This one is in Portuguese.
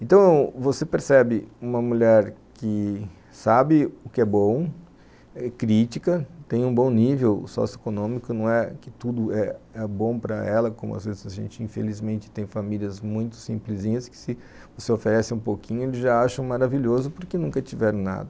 Então, você percebe uma mulher que sabe o que é bom, é crítica, tem um bom nível socioeconômico, não é que tudo é bom para ela, como às vezes a gente infelizmente tem famílias muito simplesinhas que se você oferece um pouquinho eles já acham maravilhoso porque nunca tiveram nada.